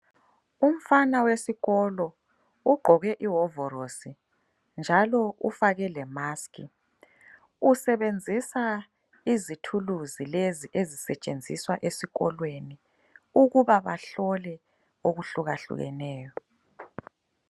Umfana wesikolo ugqoke ihovorosi njalo ufake le maskhi usebenzisa izithuluzi lezi ezisetshenziswa esikolweni ukuba bahlole okuhlukahlukeneyo.